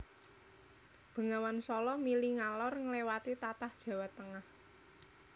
Bengawan Sala mili ngalor ngliwati tlatah Jawa Tengah